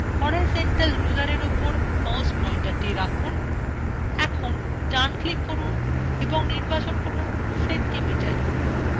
horizontal rulerএর উপর mouse পয়েন্টারthe রাখুন এখন ডানclick করুন এবং নির্বাচন করুন centimeter